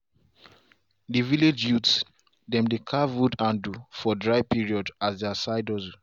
de village youth dem dey carve wood handle for dry period as side hustle.